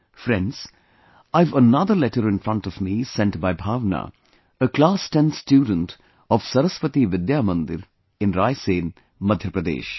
Friends, I have another letter in front of me sent by Bhavna, a class 10th student of Saraswati Vidya Mandir in Raisen, Madhya Pradesh